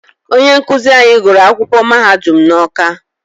Onye nkụzi anyị gụrụ akwụkwọ mahadum n'Ọ́ká.